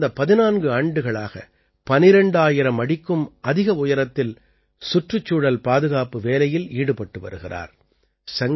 இவர் கடந்த 14 ஆண்டுகளாக 12000 அடிக்கும் அதிக உயரத்தில் சுற்றுச்சூழல் பாதுகாப்பு வேலையில் ஈடுபட்டு வருகிறார்